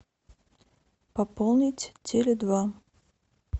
пополнить теле два